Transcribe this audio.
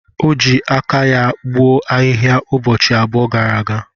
O ji aka ya gbuo ahihia ụbọchị abụọ gara aga.